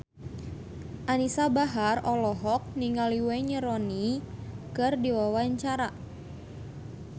Anisa Bahar olohok ningali Wayne Rooney keur diwawancara